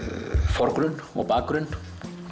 forgrunn og bakgrunn